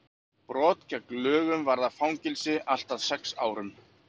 brot gegn lögunum varða fangelsi allt að sex árum